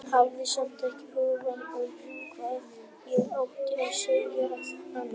Hafði samt ekki hugmynd um hvað ég átti að segja við hana.